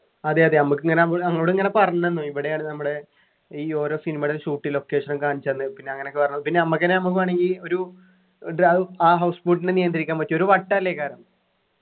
അതെയതെ നമ്മക്കിങ്ങന നം നങ്ങളോടിങ്ങന പറഞ്ഞന്നു ഇവിടെയാണ് നമ്മുടെ ഈ ഓരോ cinema യുടെ shootting location ഒക്കെ കാണിച്ചന്ന് പിന്ന അങ്ങനൊക്കെ പറഞ്ഞു പിന്നെ നമ്മക്കെന്നെ നമ്മം വേണെങ്കിൽ ഒരു ആ house boat നെ നിയന്ത്രിക്കാൻ പറ്റും ഒരു വട്ടം അല്ലെ